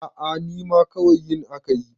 a a nima kawai yin aka yi